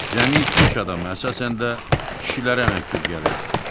Cəmi iki-üç adama əsasən də kişilərə məktub gəlirdi.